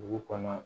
Dugu kɔnɔ